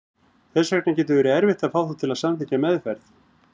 Þess vegna getur verið erfitt að fá þá til að samþykkja meðferð.